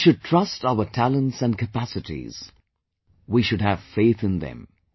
We should trust our talents & capacities; we should have faith in them